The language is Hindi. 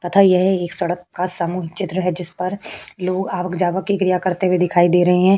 तथा यह ये सड़क का सामूहिक चित्र है जिसपर लोग आवक जावक की क्रिया करते हुए दिखाई दे रहे हैं।